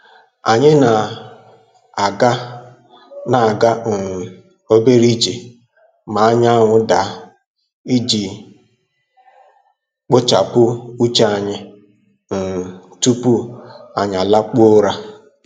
Anyị na-aga na-aga um obere ije ma anyanwụ daa iji kpochapụ uche anyị um tupu anyị lakpuo ụra.